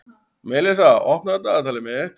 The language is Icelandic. Melissa, opnaðu dagatalið mitt.